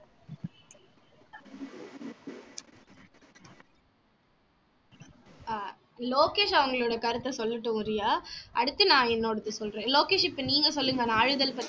அஹ் லோகேஷ் அவங்களோட கருத்த சொல்லட்டும் ரியா அடுத்து நான் என்னோடது சொல்றேன் லோகேஷ் இப்போ நீங்க சொல்லுங்க நாளிதழ் பத்தி